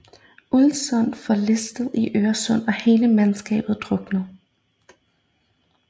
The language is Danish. Ulvsund forliste i Øresund og hele mandskabet druknede